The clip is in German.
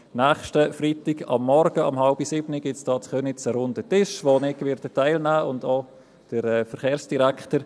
Dazu gibt es am nächsten Freitagmorgen, um 6.30 Uhr, in Köniz einen runden Tisch, an dem der Verkehrsdirektor und ich teilnehmen werden.